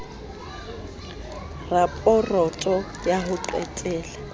raporoto ya ho qetela ya